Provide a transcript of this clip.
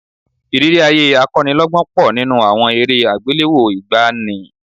Ìrírí ayé akọ́nilọ́gbọ́n pọ̀ nínú àwọn eré àgbéléwò ìgbàanì